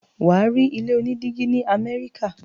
wà á rí ilé onídígí ní Amẹ́ríkà.